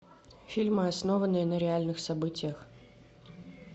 фильмы основанные на реальных событиях